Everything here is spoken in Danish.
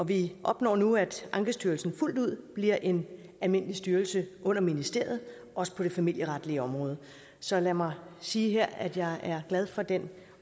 vi opnår nu at ankestyrelsen fuldt ud bliver en almindelig styrelse under ministeriet også på det familieretlige område så lad mig sige her at jeg er glad for den